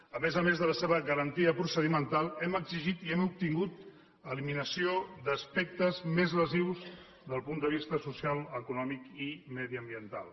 a més a més de la seva garantia procedimental hem exigit i hem obtingut l’eliminació d’aspectes més lesius des del punt de vista social econòmic i mediambiental